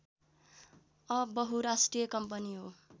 बहुराष्ट्रिय कम्पनी हो